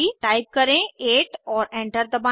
type करें 8 और enter दबाएं